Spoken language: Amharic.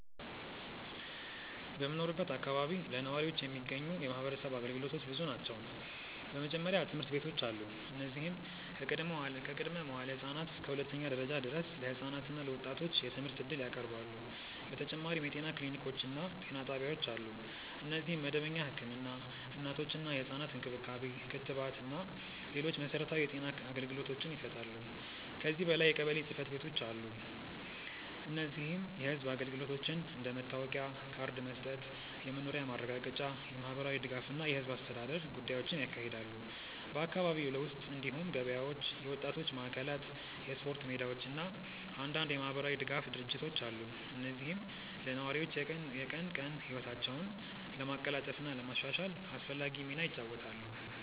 በምኖርበት አካባቢ ለነዋሪዎች የሚገኙ የማህበረሰብ አገልግሎቶች ብዙ ናቸው። በመጀመሪያ ትምህርት ቤቶች አሉ፣ እነዚህም ከቅድመ-መዋዕለ ህፃናት እስከ ሁለተኛ ደረጃ ድረስ ለህፃናት እና ለወጣቶች የትምህርት እድል ያቀርባሉ። በተጨማሪም የጤና ክሊኒኮች እና ጤና ጣቢያዎች አሉ፣ እነዚህም መደበኛ ህክምና፣ እናቶችና ህፃናት እንክብካቤ፣ ክትባት እና ሌሎች መሠረታዊ የጤና አገልግሎቶችን ይሰጣሉ። ከዚህ በላይ የቀበሌ ጽ/ቤቶች አሉ፣ እነዚህም የህዝብ አገልግሎቶችን እንደ መታወቂያ ካርድ መስጠት፣ የመኖሪያ ማረጋገጫ፣ የማህበራዊ ድጋፍ እና የህዝብ አስተዳደር ጉዳዮችን ያካሂዳሉ። በአካባቢው ውስጥ እንዲሁም ገበያዎች፣ የወጣቶች ማዕከላት፣ የስፖርት ሜዳዎች እና አንዳንድ የማህበራዊ ድጋፍ ድርጅቶች አሉ፣ እነዚህም ለነዋሪዎች የቀን ቀን ህይወታቸውን ለማቀላጠፍ እና ለማሻሻል አስፈላጊ ሚና ይጫወታሉ።